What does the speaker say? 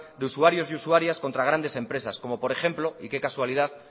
de usuarios y usuarias contra grandes empresas como por ejemplo y que casualidad